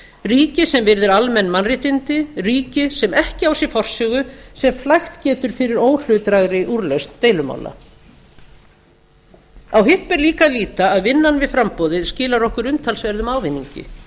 ríki sem virðir almenn mannréttindi ríki sem ekki á sér forsögu sem flækt getur fyrir óhlutdrægri úrlausn deilumála á hitt ber líka að líta að vinnan við framboðið skilar okkur umtalsverðum ávinningi